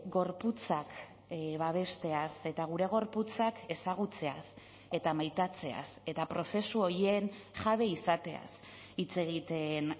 gorputzak babesteaz eta gure gorputzak ezagutzeaz eta maitatzeaz eta prozesu horien jabe izateaz hitz egiten